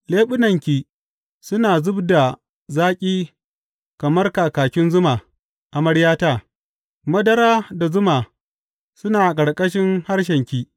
Leɓunanki suna zub da zaƙi kamar kakin zuma, amaryata; madara da zuma suna a ƙarƙashin harshenki.